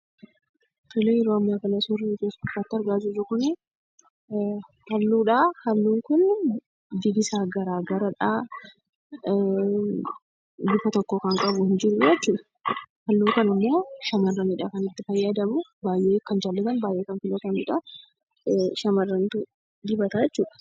Tole yeroo ammaa kana suurrii asi irratti argaa jirru kuni halluudha. Halluun kun bifti isaa garaa garadhaa bifa tokko kan qabu hin jiru jechuudha. Halluu kanammoo Shamarranidha kan itti fayyadamu. Baay'ee kan jaallatanii fi baay'ee filatanidha. Shamarrantu dibata jechuudha.